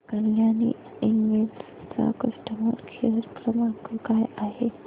Kalyani invest चा customer care क्रमांक काय आहे